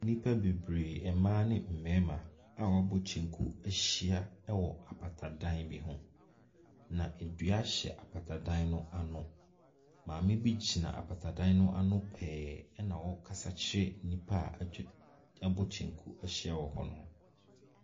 Nnipa bebree, mmaa ne mmɛrima a wabɔ kyɛnku ahyia ɛwɔ apata dan bi ho. Na adua hyɛ apata dan no ano. Maame bi gyina apata dan no ano pɛɛ ɛna ɔkasa ɛkyerɛ nnipa a wabɔ kyɛnku ahyia wɔ hɔ no.